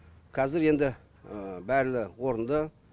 қазір енді орынды